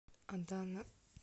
адана